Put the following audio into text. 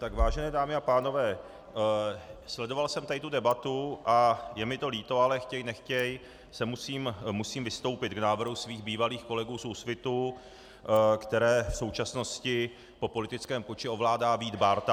Tak vážené dámy a pánové, sledoval jsem tady tu debatu a je mi to líto, ale chtěj nechtěj musím vystoupit k návrhu svých bývalých kolegů z Úsvitu, které v současnosti po politickém puči ovládá Vít Bárta.